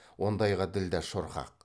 ондайға ділдә шорқақ